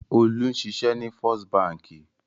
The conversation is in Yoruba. Olú ń ṣiṣẹ́ ní First Báńkì.